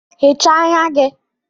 Hichaa anya gị!